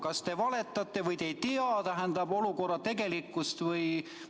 Kas te valetate või te ei tea olukorra tegelikkust?